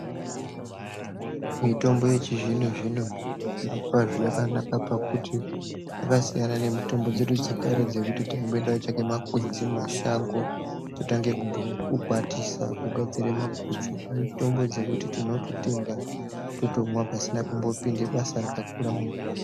Mitombo yechizvino zvino zvirokwazvo yakanaka pakuti dzakasiyana nemitombo dzedu dzekare dzekuti taimboende koocheke makwenzi mumashango wotange kukwatisa wogadzire maguchu. Mitombo dzekuti tinototenga totomwa pasina kumbopinde basa rakakura maningi.